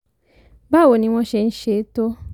báwo ni wọ́n ṣe ń ṣe é tó?